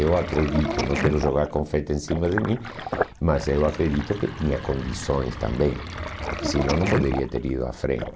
Eu acredito, não quero jogar confete em cima de mim, mas eu acredito que tinha condições também, porque senão não poderia ter ido à frente.